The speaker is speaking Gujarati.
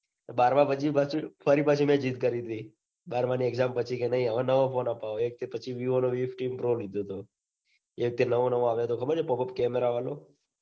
બારમા પછી પાછું ફરી પાછું. મેં ઝિદ કરી ટી બારમાની exam પછી કે નઈ હવે. નવો phone આપવો એક હતો. પછી મેં વીવોનો વી ફિફટિન લીધો તો. એ જે નવો નવો આવ્યો. યો પોપોપ કેમેરા વાળો.